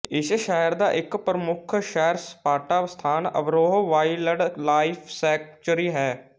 ਇਸ ਸ਼ਹਿਰ ਦਾ ਇੱਕ ਪ੍ਰਮੁੱਖ ਸੈਰਸਪਾਟਾ ਸਥਾਨ ਅਬੋਹਰ ਵਾਈਲਡ ਲਾਈਫ ਸੈੰਕਚੂਰੀ ਹੈ